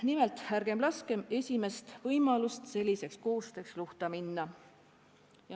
Nii et ärgem laskem esimesel koostöövõimalusel luhta minna.